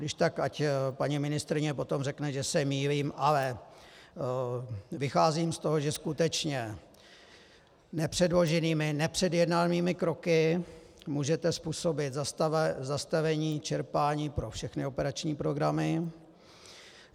Když tak ať paní ministryně potom řekne, že se mýlím, ale vycházím z toho, že skutečně nepředloženými, nepředjednanými kroky můžete způsobit zastavení čerpání pro všechny operační programy.